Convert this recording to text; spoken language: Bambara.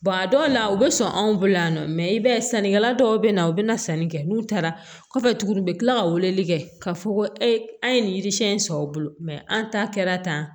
a dɔw la u bɛ sɔn anw bolo yan nɔ i b'a ye sannikɛla dɔw bɛ na u bɛ na sanni kɛ n'u taara kɔfɛ tuguni u bɛ tila ka weleli kɛ ka fɔ ko an ye nin yirisɛn in sɔrɔ o bolo an ta kɛra tan